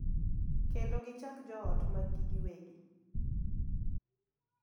Kendo gichak joot mag-gi giwegi,